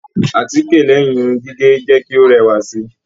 Àtíkè lẹyìn Irun gígé jẹ kí o rẹwa sí.